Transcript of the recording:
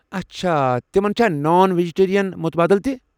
اچھا ، تمن چھا نان۔ ویجٹیرین مُتبٲدِل تہِ ؟